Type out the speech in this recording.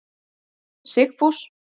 Sigfús